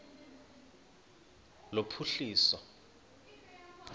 lophuhliso